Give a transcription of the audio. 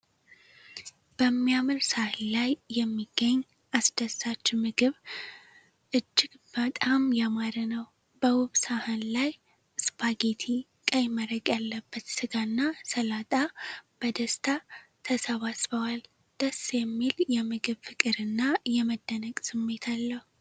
በሚያምር ሳህን ላይ የሚገ አስደሳች ምግብ እጅግ በጣም ያማረ ነው። በውብ ሳህን ላይ ስፓጌቲ፣ ቀይ መረቅ ያለበት ስጋና ሰላጣ በደስታ ተሰባስበዋል። ደስ የሚል የምግብ ፍቅርና የመደነቅ ስሜት አለው።